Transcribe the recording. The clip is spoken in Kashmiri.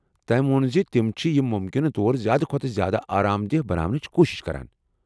تٔم ووٚن زِ تم چھِ یہِ مُمکِنہٕ طور زیٛادٕ کھۄتہٕ زیٛادٕ آرام دہ بناونٕچ کوٗشِش کران ۔